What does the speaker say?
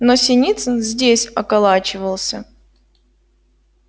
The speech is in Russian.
но синицын здесь околачивался